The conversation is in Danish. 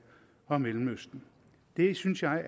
og mellemøsten det synes jeg